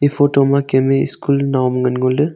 e photo ma Kem e school nao am ngan ngo le.